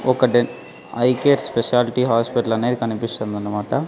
ఒక డెన్ eye care speciality hospital అనేది కనిపిస్తుందనమాట.